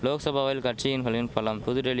லோக்சபாவில் கட்சியின்களின் பலம் புதுடெல்லி